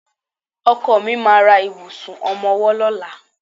Ọkọ mi ma ra ìbùsùn ọmọwọ́ lọ́la.